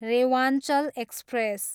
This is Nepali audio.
रेवाञ्चल एक्सप्रेस